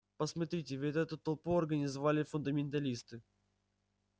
посмотрите ведь эту толпу организовали фундаменталисты